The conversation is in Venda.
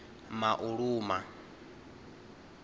mauluma